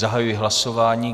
Zahajuji hlasování.